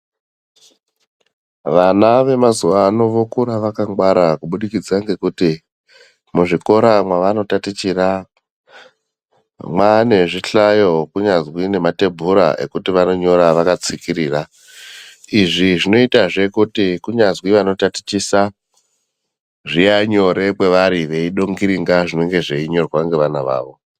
Vana vemazuwaano vokura vakangwara kubudikidza ngekuti ,muzvikora mwavanotatichira, mwa nezvihlayo kunyazwi nematebhura ekuti vanonyora vakatsikirira, izvi zvinoyitazve kuti kunyazwi vanotatichisa zviyanyore kwavari, veyidingiringa zvinenge zveyinyorwa ngevana vavo.